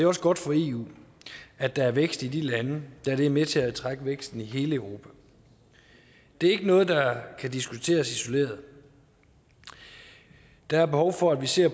også godt for eu at der er vækst i de lande da det er med til at trække væksten i hele europa det er ikke noget der kan diskuteres isoleret der er behov for at vi ser